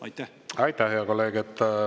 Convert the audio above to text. Aitäh, hea kolleeg!